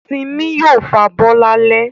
Simi yóò fabọ́ lálẹ́